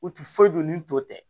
U ti foyi dɔn ni tɔw tɛ